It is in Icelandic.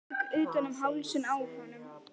Tek utan um hálsinn á honum.